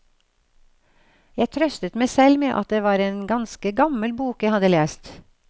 Jeg trøstet meg selv med at det var en ganske gammel bok jeg hadde lest.